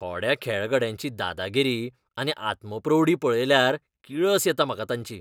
थोड्या खेळगड्यांची दादागिरी आनी आत्मप्रौढी पळयल्यार किळस येता म्हाका तांची.